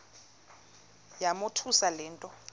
yamothusa le nto